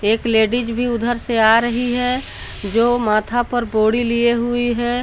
एक लेडिज भी उधर से आ रही है जो माथा पर बोरी लिए हुई है।